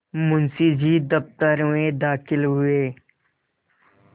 मुंशी जी दफ्तर में दाखिल हुए